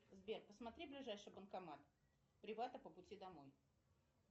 сбер посмотри ближайший банкомат привата по пути домой